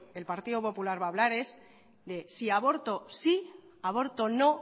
el partido popular va hablar es si de aborto sí aborto no